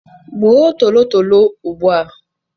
Gbuo tolotolo ugbu a.